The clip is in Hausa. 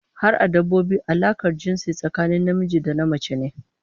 Har a dabbobi alakar jinsi tsakanin namiji da namace ne